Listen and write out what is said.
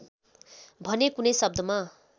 भने कुनै शब्दमा